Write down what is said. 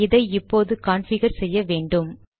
இதை இப்போது கான்ஃபிகர் செய்ய வேண்டும்